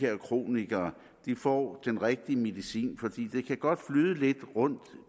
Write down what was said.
kronikere får den rigtige medicin for det kan godt flyde lidt rundt